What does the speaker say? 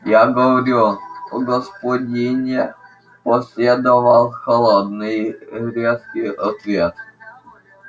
я говорю о господине последовал холодный резкий ответ